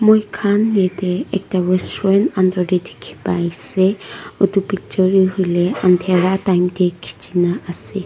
moikhan yeti ekta restaurant under teh dikhipai ase itu picture toh hoile undera time teh kichi na ase.